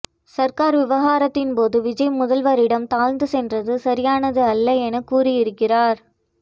சர்கார் விவகாரத்தின் போது விஜய் முதல்வரிடம் தாழ்ந்ந்து சென்றது சரியானது அல்ல எனக் கூறியிருக்கிறார்